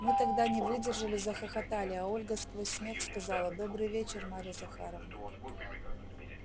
мы тогда не выдержали захохотали а ольга сквозь смех сказала добрый вечер марья захаровна